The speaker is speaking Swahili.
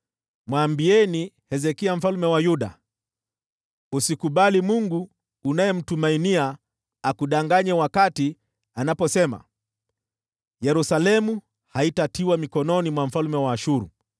“Mwambieni Hezekia mfalme wa Yuda: Usikubali huyo Mungu unayemtumainia akudanganye wakati anaposema, ‘Yerusalemu haitatiwa mkononi mwa mfalme wa Ashuru.’